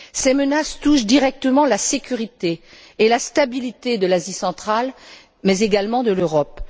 Ces menaces touchent directement la sécurité et la stabilité de l'Asie centrale, mais également de l'Europe.